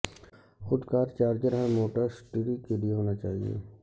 خود کار چارجر ہر موٹرسٹری کے لئے ہونا چاہئے